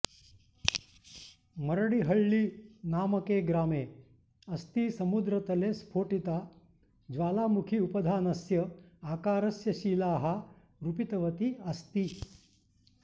मरडिहळ्ळीनामके ग्रामे अस्ति समुद्रतले स्फोटिता ज्वालामुखी उपधानस्य आकारस्य शिलाः रूपितवती अस्ति